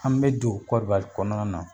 An be don kɔrɔwari kɔnɔna na